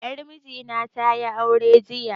Yar miji na tayi aure jiya